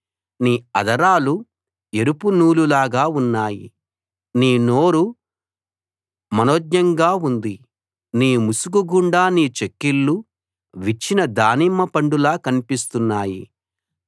నీ అధరాలు ఎరుపు నూలులాగా ఉన్నాయి నీ నోరు మనోజ్ఞంగా ఉంది నీ ముసుకు గుండా నీ చెక్కిళ్ళు విచ్చిన దానిమ్మ పండులా కన్పిస్తున్నాయి